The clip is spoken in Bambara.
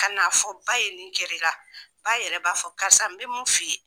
Ka na fɔ ba ye nin gɛrɛ i la, ba yɛrɛ b'a fɔ karisa n be mun f'i ye.